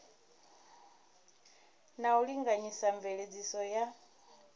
na u linganyisa mveledziso ya